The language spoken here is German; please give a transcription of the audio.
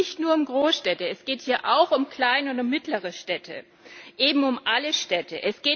Es geht hier nicht nur um Großstädte, es geht hier auch um kleine und um mittlere Städte, eben um alle Städte.